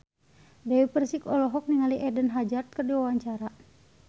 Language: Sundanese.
Dewi Persik olohok ningali Eden Hazard keur diwawancara